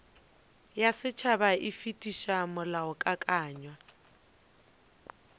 ya setšhaba e fetiša molaokakanywa